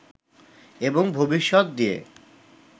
এবং ভবিষ্যত দিয়ে